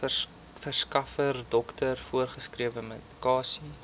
verskaffer dokter voorgeskrewemedikasie